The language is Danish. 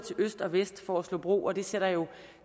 øst og vest for at slå bro og det sætter jo